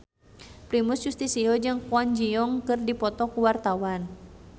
Primus Yustisio jeung Kwon Ji Yong keur dipoto ku wartawan